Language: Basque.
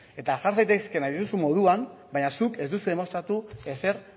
eta jar zaitezke nahi duzun moduan baina zuk ez duzu demostratu ezer